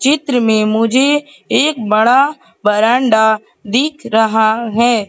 चित्र में मुझे एक बड़ा बरांडा दिख रहा हैं।